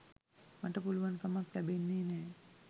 මට පුළුවන් කමක් ලැබෙන්නේ නෑ.